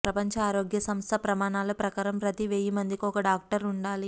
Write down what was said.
ప్రపంచ ఆరోగ్య సంస్థ ప్రమాణాల ప్రకారం ప్రతి వెయ్యి మందికి ఒక డాక్టర్ ఉండాలి